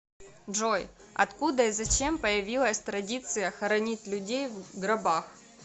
джой откуда и зачем появилась традиция хоронить людей в гробах